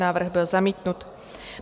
Návrh byl zamítnut.